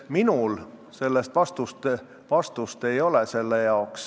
Minul sellele vastust ei ole.